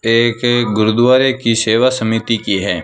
एक एक गुरुद्वारे की सेवा समिति की है।